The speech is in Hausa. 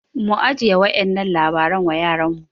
mu ajiye wa'yannan labaran wa yaranmu